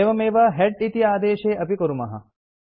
एवमेव हेड इति आदेशे अपि कुर्मः